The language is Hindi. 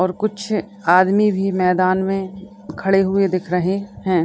और कुछ आदमी भी मैदान में खड़े हुए दिख रहे हैं।